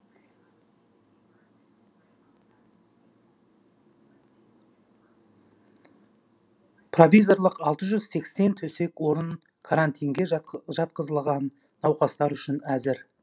провизорлық алты жүз сексен төсек орын карантинге жатқызылған науқастар үшін әзір